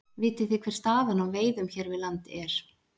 Vitið þið hver staðan á veiðum hér við land er?